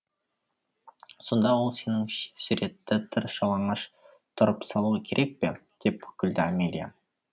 сонда ол сеніңш суретті тыр жалаңаш тұрып салуы керек пе деп күлді амелия